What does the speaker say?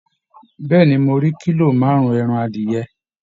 Bẹ́ẹ̀ ni, mo rí kílò márùn-ún ẹran adìyẹ